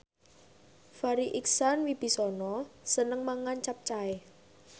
Farri Icksan Wibisana seneng mangan capcay